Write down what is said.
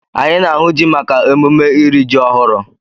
Anyị na-ahụ ji maka emume iri ji ọhụrụ.